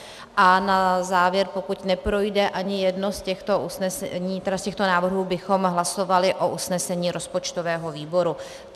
A na závěr, pokud neprojde ani jeden z těchto návrhů, bychom hlasovali o usnesení rozpočtového výboru.